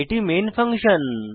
এটি main function